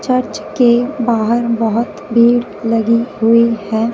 Church के बाहर बहुत भीड़ लगी हुई है।